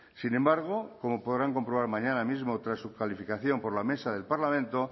sin embargo como podrán comprobar mañana mismo tras su calificación por la mesa del parlamento